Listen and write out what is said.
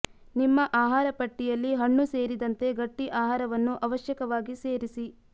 ನಿಮ್ಮ ಆಹಾರ ಪಟ್ಟಿಯಲ್ಲಿ ಹಣ್ಣು ಸೇರಿದಂತೆ ಗಟ್ಟಿ ಆಹಾರವನ್ನು ಅವಶ್ಯಕವಾಗಿ ಸೇರಿಸಿ